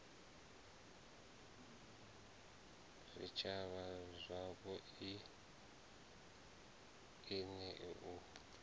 zwitshavha zwapo i nea u